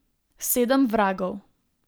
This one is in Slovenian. Sedem vragov.